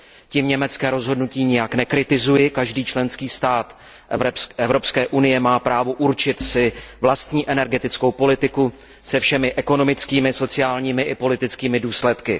Tím německé rozhodnutí nijak nekritizuji, každý členský stát Evropské unie má právo určit si vlastní energetickou politiku se všemi ekonomickými, sociálními i politickými důsledky.